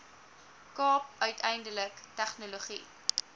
kaap uiteindelik tegnologie